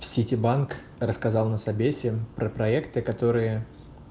в ситибанк рассказал на собесе про проекты которые